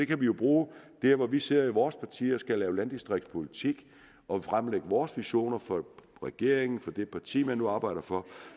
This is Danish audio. kan vi jo bruge der hvor vi sidder i vores parti og skal lave landdistriktspolitik og fremlægge vores visioner for regeringen for det parti man nu arbejder for